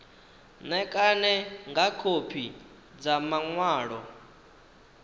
ṋekane nga khophi dza maṅwalo